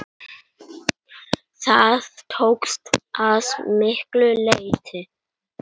Það tókst að miklu leyti.